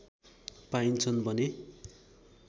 पाइन्छन् भने